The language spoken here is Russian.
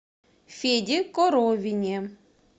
феде коровине